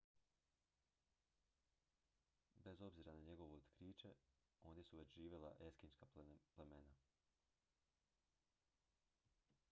bez obzira na njegovo otkriće ondje su već živjela eskimska plemena